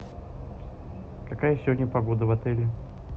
какая сегодня погода в отеле